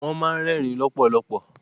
Wọ́n ma ń rẹ́ẹ̀rín lọ́pọ̀lọpọ̀.